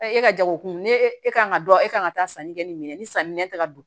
e ka jagokun ne e kan ka dɔn e kan ka taa sanni kɛ ni minɛn ni sanni nɛn tɛ ka don